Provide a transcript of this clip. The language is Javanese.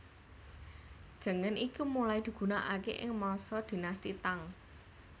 Jengen iki mulai digunaake ing masa Dinasti Tang